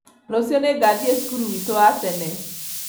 Rũciũ nĩngathiĩ cukuru witũ wa tene